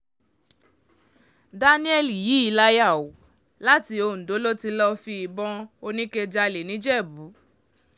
daniel yìí láyà o láti ondo ló ti lọ́ọ́ fi ìbọn oníke jálẹ̀ nìjẹ̀bù